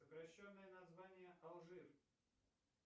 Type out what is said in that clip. сокращенное название алжир